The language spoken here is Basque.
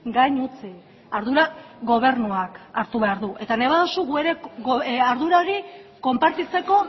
gain utzi ardura gobernuak hartu behar du eta nahi baduzu gu ere ardura hori konpartitzeko